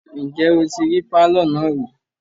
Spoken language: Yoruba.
Ǹjẹ́ o tí rí pálọ̀ náà rí?